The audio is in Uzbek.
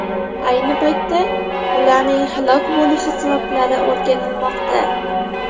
Ayni paytda ularning halok bo‘lishi sabablari o‘rganilmoqda.